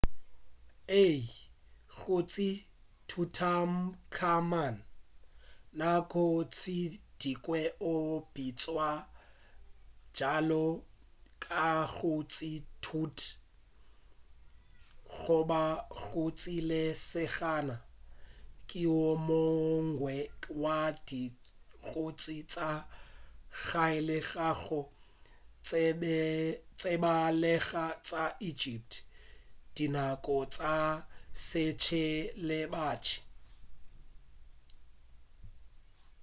ee kgoši tutankhamun nako tše dingwe o bitšwa bjalo ka kgoši tut goba kgoši ya lesogana ke wo mongwe wa dikgotši tša kgale tša go tsebalega tša egypt dinako tša sebjalebjale